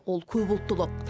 ол көпұлттылық